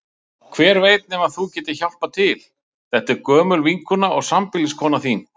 Hver veit nema þú getir hjálpað til, þetta er gömul vinkona og sambýliskona þín.